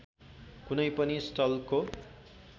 कुनै पनि स्थलको